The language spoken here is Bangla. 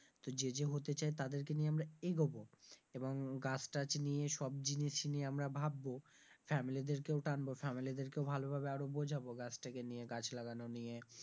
তো যে যে হতে চায় তাদেরকে নিয়ে আমরা এগোবো এবং গাছ-টাছ নিয়ে সব জিনিস নিয়ে আমরা ভাববো family দের কেউ টানবো family দের কেউ ভালো ভাবে আরো বোঝাবো গাছটাকে নিয়ে, গাছ লাগানো নিয়ে,